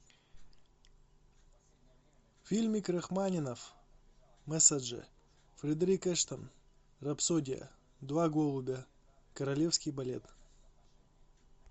фильмик рахманинов мессаже фредерик эштон рапсодия два голубя королевский балет